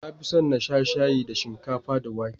Na fin son na sha shayi da shinkafa da wake.